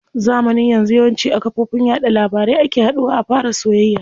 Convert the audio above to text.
Zamanin yanzu yawanci a kafofin yaɗa labarai ake haduwa a fara soyayya.